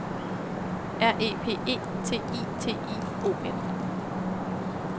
R E P E T I T I O N